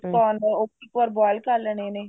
corn ਉਹ ਵੀ ਇੱਕ ਵਾਰ boil ਕਰ ਲੈਣੇ ਨੇ